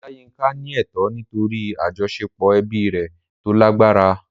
Olayinka ní ẹ̀tọ́ nítorí àjọṣepọ̀ ẹbí rẹ̀ tó lágbára.